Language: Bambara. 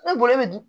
Ni bolo bɛ dun